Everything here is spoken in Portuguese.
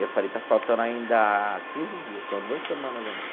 Eu falei, está faltando ainda quinze dias, tenho duas semanas ainda.